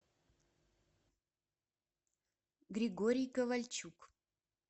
григорий ковальчук